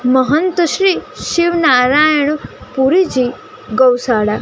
મહંત શ્રી શિવનારાયણ પૂરીજી ગૌ શાળા.